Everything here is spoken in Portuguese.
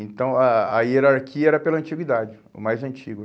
Então, a a hierarquia era pela antiguidade, o mais antigo.